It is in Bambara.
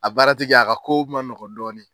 A baara ti kɛ a ka ko ma nɔgɔn dɔɔni.